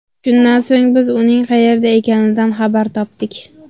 Shundan so‘ng, biz uning qayerda ekanidan xabar topdik.